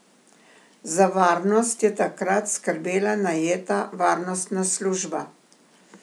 Za varnost je takrat skrbela najeta varnostna služba.